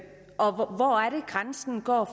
grænsen går